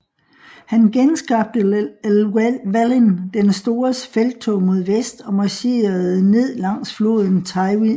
Han genskabte Llywelyn den Stores felttog mod vest og marcherede ned langs floden Tywi Valley